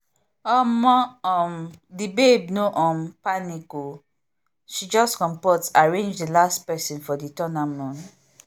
omo um the babe no um panic o she just comport arrange the last person for the tournament